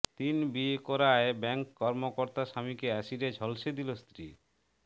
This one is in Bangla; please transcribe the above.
তিন বিয়ে করায় ব্যাংক কর্মকর্তা স্বামীকে অ্যাসিডে ঝলসে দিলো স্ত্রী